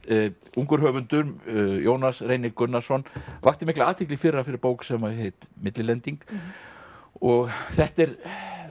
ungur höfundur Jónas Reynir Gunnarsson vakti mikla athygli í fyrra fyrir bók sem heitir millilending og þetta er